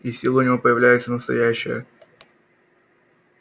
и сила у него появляется настоящая